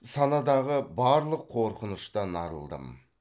санадағы барлық қорқыныштан арылдым